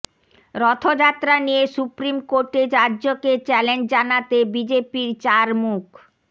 রথযাত্রা নিয়ে সুপ্রিম কোর্টে রাজ্যকে চ্যালেঞ্জ জানাতে বিজেপির চার মুখ